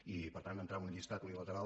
i per tant entrar en un llistat unilateral